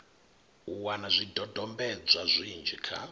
u wana zwidodombedzwa zwinzhi kha